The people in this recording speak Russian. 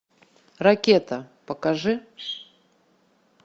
ракета покажи